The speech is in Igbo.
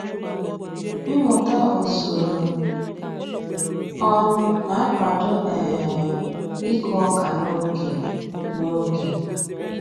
Mmụta ozuru ọnụ na-akwado um ịkụ ọka n'oge n'oge